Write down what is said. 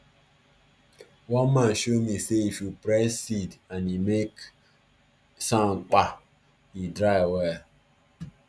one farmer show me say if you press seed and e make soundkpa e dry well